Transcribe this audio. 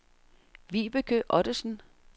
Vibeke Ottosen